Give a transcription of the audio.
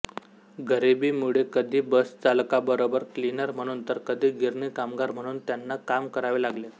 गरिबीमुळे कधी बसचालकाबरोबर क्लीनर म्हणून तर कधी गिरणी कामगार म्हणून त्यांना काम करावे लागले